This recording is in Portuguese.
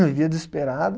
Vivia desesperada.